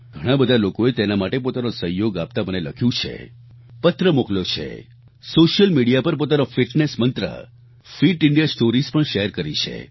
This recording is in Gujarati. ઘણાં બધા લોકોએ તેના માટે પોતાનો સહયોગ આપતા મને લખ્યું છે પત્ર મોકલ્યો છે સોશિયલ મીડિયા પર પોતાનો ફિટનેસ મંત્ર ફિટ ઇન્ડિયા સ્ટોરીઝ भी શેર કરી છે